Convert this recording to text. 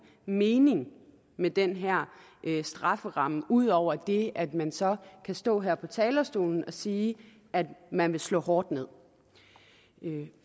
mening med den her strafferamme ud over det at man så kan stå her på talerstolen og sige at man vil slå hårdt ned